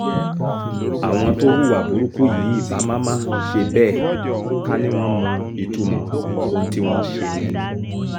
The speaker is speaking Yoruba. àwọn tó hùwà burúkú yìí ibà má má ṣe bẹ́ẹ̀ ká ní wọ́n mọ ìtumọ̀ ohun tí wọ́n ṣe yẹn ni